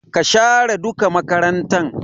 Ka share duka makarantan!